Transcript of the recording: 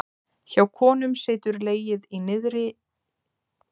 Hjá konum situr legið í neðri hluta mjaðmagrindar.